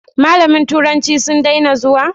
Mallaman turancin sun daina zuwa?